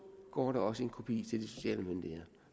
går der også en kopi til de sociale myndigheder